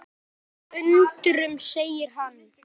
Það sætir undrum segir hann.